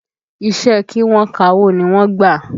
Iṣẹ́ ẹ kí wọ́n kawó ni wọ́n gbà